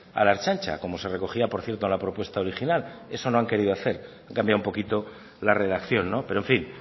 a la ertzaintza como se recogía por cierto en la propuesta original eso no han querido hacer han cambiado un poquito la redacción pero en fin